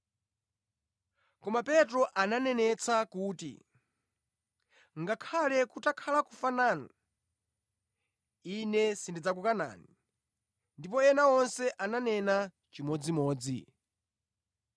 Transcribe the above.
Koma Petro ananenetsa kuti, “Ngakhale kutakhala kufa nanu, ine sindidzakukanani.” Ndipo ena onse ananena chimodzimodzi.